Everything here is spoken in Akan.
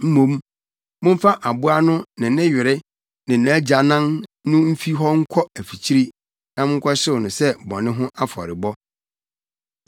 Mmom momfa aboa no ne ne were ne nʼagyanan no mfi hɔ nkɔ afikyiri na monkɔhyew no sɛ bɔne ho afɔrebɔ.